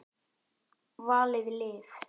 Valið lið.